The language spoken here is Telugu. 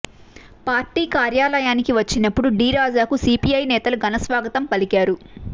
పార్టీ కార్యాలయానికి వచ్చినపుడు డీ రాజాకు సీపీఐ నేతలు ఘనస్వాగతం పలికారు